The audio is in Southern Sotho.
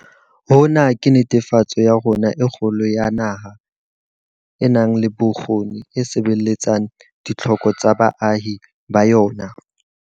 Hona ke netefaletso ya rona e kgolo ya naha e nang le bokgoni e sebeletsang ditlhoko tsa baahi ba yona.